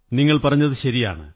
നിങ്ങൾ പറഞ്ഞതു ശരിയാണ്